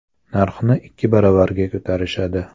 Narxni ikki baravarga ko‘tarishadi.